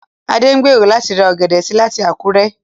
Adé ń gbèrò láti ra ọ̀gẹ̀dẹ̀ sí láti Àkúrẹ́